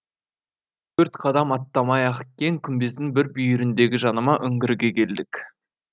төрт қадам аттамай ақ кең күмбездің бір бүйіріндегі жанама үңгірге келдік